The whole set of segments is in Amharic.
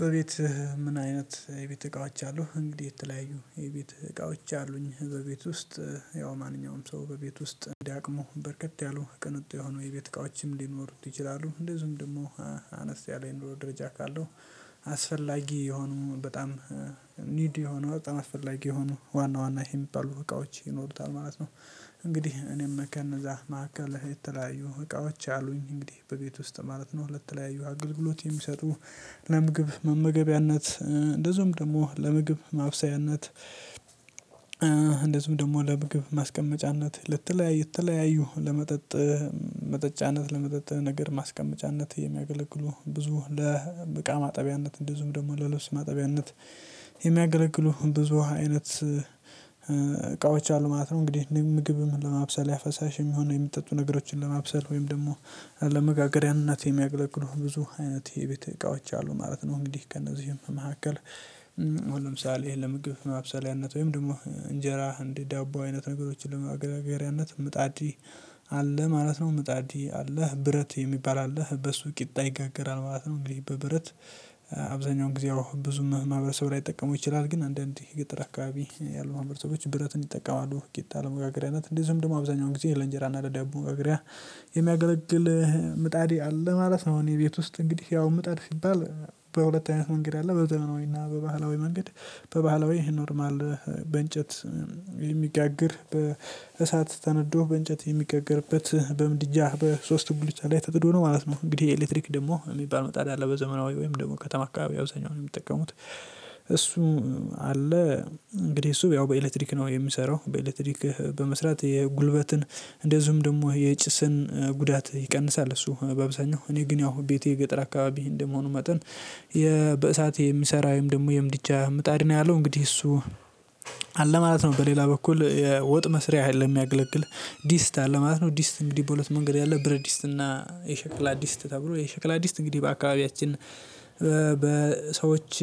በቤት ምን አይነት የቤት እቃዎች አሉህ? እንግዲህ የተለያዩ የቤት እቃዎች አሉኝ በቤት ውስጥ ያው ማንኛውም ሰው በቤት ውስጥ እንደ አቅሙ በርከት ያሉ ቅንጡ የሆኑ የቤት እቃዎችም ሊኖሩት ይችላሉ እንደዚሁም ደግሞ አነስ ያለ የኑሮ ደረጃ ካለው አስፈላጊ የሆኑ በጣም ኒድ የሆነው በጣም አስፈላጊ የሆነው ዋና ዋና የሚባሉ እቃዎች ይኖሩታል ማለት ነው እንግዲህ እኔም ከነዛ ማዕከል የተለያዩ እቃዎች አሉኝ እንግዲህ በቤት ውስጥ ማለት ነው ለተለያዩ አገልግሎት የሚሰጡ ለምግብ መመገቢያነት እንደዚሁም ደግሞ ለምግብ ማብሰያነት እንደዚሁም ደግሞ ለምግብ ማስቀመጫነት ለተለያዩ የተለያዩ ለመጠጥ መጠጫነት ለመጠጥ ነገር ማስቀመጫነት የሚያገለግሉ ብዙ ለብ እቃ ማጠቢያነት እንደዚሁም ደግሞ ለልብስ ማጠቢያነት የሚያገለግሉ ብዙ አይነት እቃዎች አሉ ማለት ነው እንግዲህ እኒህም ምግብም ለማብሰል ያ ፈሳሽ የሚሆን የሚጠጡ ነገሮችን ለማብሰል ወይም ደግሞ ለመጋገሪያነት የሚያገለግሉህ ብዙ አይነት የቤት እቃዎች አሉ ማለት ነው እንግዲህ ከነዚህም መካከል ለምሳሌ ለምግብ ማብሰሊያነት ወይም ደግሞ እንጀራ እንዲህ ዳቦ አይነት ነገሮችን ለማጋገሪያነት ምጣድ አለ ማለት ነው ምጣድ አለህ ብረት የሚባል አለህ በሱ ቂጣ ይጋገራል ማለት ነው እንግዲህ በብረት አብዛኛውን ጊዜ ብዙ ማህበረሰብ ላይጠቀሙ ይችላሉ ግን አንዳንዴ የገጠር አካባቢ ያሉ ማህበረሰቦች ብረትን ይጠቀማሉ ቂጣ ለመጋገሪያነት እንዴ ዝም ደግሞ አብዛኛውን ጊዜ ይሄ ለእንጀራና ለደቡብ መጋገሪያ የሚያገለግል ምጣድ አለ ማለት ነው እኔ ቤት ውስጥ እንግዲህ ያው ምጣድ ሲባል በሁለት አይነት መንገድ አለ በዘመናዊና በባህላዊ መንገድ በባህላዊ ኖርማል በእንጨት የሚጋግር በእሳት ተነዶ በእንጨት የሚጋገርበት በምድጃህ በሶስት ጉልቻ ላይ ተጥዶ ነው ማለት ነው እንግዲህ የኤሌክትሪክ ደግሞ የሚባል ምጣድ የሚባል አለ በዘመናዊ ወይም ደግሞ ከተማ አካባቢ አብዛኛውን የሚጠቀሙት እሱ አለ እንግዲህ እሱ ያው በኤሌክትሪክ ነው የሚሰራው በኤሌክትሪክ በመስራት የጉልበትን እንደዚሁም ደግሞ የጭስን ጉዳት ይቀንሳል እሱ በአብዛኛው እኔ ግን ያው ቤቴ ገጠር አካባቢ እንደመሆኑ መጠን በእሳት የሚሰራ ወይም ደግሞ የምድጃ ምጣድ ነው ያለው እንግዲህ እሱ አለ ማለት ነው በሌላ በኩል የወጥ መስሪያ ለ የሚያገለግል ዲስት አለ ማለት ነው ዲስት እንግዲህ በሁለት መንገድ ያለ ብር አዲስ እና የሸክላ አዲስ ተብሎ የሸክላ አዲስ እንግዲህ በአካባቢያችን በሰዎች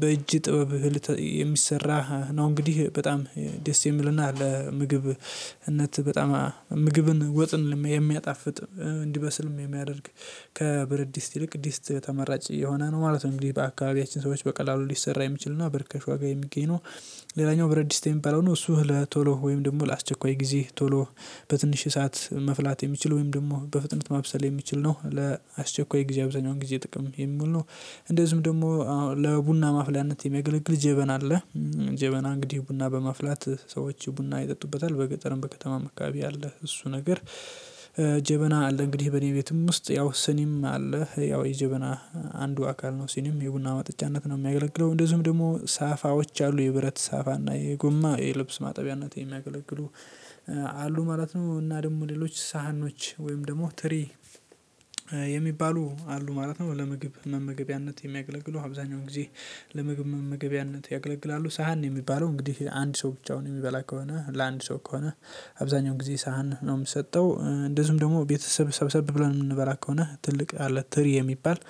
በእጅ ጥበብ ልት የሚሰራ ነው እንግዲህ በጣም ደስ የሚልና ለምግብነት በጣም ምግብን ወጥን የሚያጣፍጥ እንዲበስልም የሚያደርግ ከብረድስት ይልቅ ድስት ተመራጭ የሆነ ነው ማለት ነው እንግዲህ በአካባቢያችን ሰዎች በቀላሉ ሊሰራ የሚችል እና በርከሽ ዋጋ የሚገኝ ነው ሌላኛው ብረዲስት የሚባለው ነው እሱ ለቶሎ ወይም ደግሞ ለአስቸኳይ ጊዜ ቶሎ በትንሽ ሰዓት መፍላት የሚችል ወይም ደግሞ በፍጥነት ማብሰል የሚችል ነው ለአስቸኳይ የጊዜ አብዛኛውን ጊዜ ጥቅም የሚል ነው እንደዚሁም ደግሞ ለቡና ማፍሊያነት የሚገለግል ጀበና አለ ጀበና እንግዲህ ቡና በማፍላት ሰዎች ቡና ይጠጡበታል በገጠርም በከተማም አካባቢ ያለ እሱ ነገር ጀበና አለ እንግዲህ በእኔ ቤትም ውስጥ ያው ስኒም አለ ያው የጅብና አንዱ አካል ነው ሲኒም የቡና ማጥቻነት ነው የሚያገለግለው እንደዚሁም ደግሞ ሳፋዎች አሉ የብረት ሳፋና የጎማ የልብስ ማጠቢያነት የሚያገለግሉ አሉ ማለት ነው እና ደግሞ ሌሎች ሳህኖች ወይም ደግሞ ትሪ የሚባሉ አሉ ማለት ነው ለምግብ መመገቢያነት የሚያገለግለው አብዛኛው ጊዜ ለምግብ መመገቢያነት ያገለግላሉ ሳህን ነው የሚባለው እንግዲህ አንድ ሰው ብቻውን የሚበላ ከሆነ ለአንድ ሰው ከሆነ አብዛኛው ጊዜ ሳህን ነው የምሰጠው እንደዚሁም ደግሞ ቤተሰብ ሰብሰብ ብለን የምንበላ ከሆነ ትልቅ አለ ትሪ የሚባል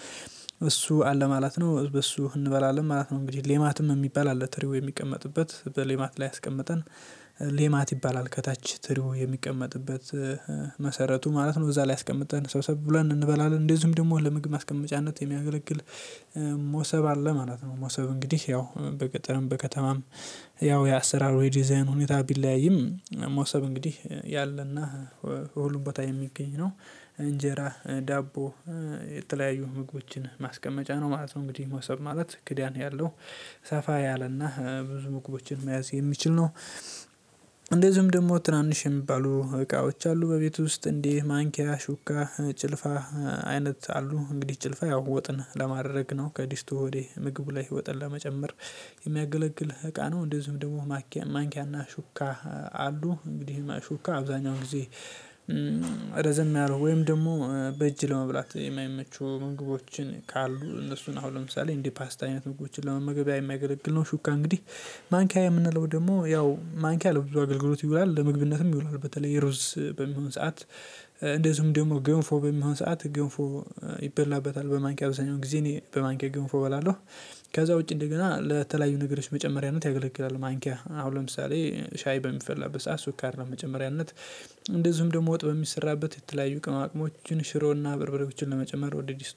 እሱ አለ ማለት ነው በሱ እንበላለን ማለት ነው እንግዲህ ሌማትም የሚባል አለ ትሪው የሚቀመጥበት በሌማት ላይ አስቀመጠን ሌማት ይባላል ከታች ትሪው የሚቀመጥበት መሰረቱ ማለት ነው እዛ ላይ አስቀመጠን ሰብሰብ ብለን እንበላለን እንደዚሁም ደግሞ ለምግብ ማስቀመጫነት የሚያገለግል ሞሰብ አለ ማለት ነው ሞሰብ እንግዲህ ያው በገጠርም በከተማም ያው የአሰራር ወይ ዲዛይን ሁኔታ ቢለያይም ሞሰብ እንግዲህ ያለና ወሎበታ የሚገኝ ነው እንጀራ ዳቦ የተለያዩ ምግቦችን ማስቀመጫ ነው ማለት ነው እንግዲህ መውሰድ ማለት ክዳን ያለው ሰፋ ያለና ብዙ ምግቦችን መያዝ የሚችል ነው እንደዚሁም ደግሞ ትናንሽ የሚባሉ እቃዎች አሉ በቤት ውስጥ እንደ ማንኪያ ሹካ ጭልፋ አይነት አሉ እንግዲህ ጭልፋ ያው ወጥን ለማድረግ ነው ከዲስቱ ወዴ ምግቡ ላይ ወጥን ለመጨመር የሚያገለግል እቃ ነው እንደዚሁም ደግሞ ማንኪያ ማንኪያና ሹካ አሉ እንግዲህ ማ ሹካ አብዛኛውን ጊዜ ረዘም ያለው ወይም ደግሞ በእጅ ለመብላት የማይመቹ ምግቦችን ካሉ እነሱን አሁን ለምሳሌ እንዴ ፓስት አይነት ምግቦችን ለመመገብያ የሚያገለግል ነው ሹካ እንግዲህ ማንኪያ የምንለው ደግሞ ያው ማንኪያ ለብዙ አገልግሎት ይውላል ለመግብነትም ይውላል በተለይ የሩዝ በሚሆን ሰዓት እንደዚሁም ደግሞ ገንፎ በሚሆን ሰዓት ግንፎ ይበላበታል በማንኪያ አብዛኛውን ጊዜ እኔ በማንኪያ ገንፎ እበላለሁ ከዛ ውጪ እንደገና ለተለያዩ ነገሮች መጨመሪያነት ያገለግላል ማንኪያ አሁን ለምሳሌ ሻይ በሚፈልግበት ሰዓት ሱካር ለመጨመሪያነት እንደዚሁም ደግሞ ወጥ በሚሰራበት የተለያዩ ቅመማቅመሞችን ሽሮና በርብሬዎችን ለመጨመር ወደ ድስት